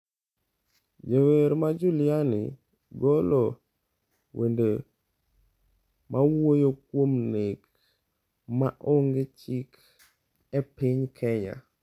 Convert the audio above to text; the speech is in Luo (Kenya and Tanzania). Jawer ma Juliani golo wende mawuoyo kuom nek maonge chik e piny Kenya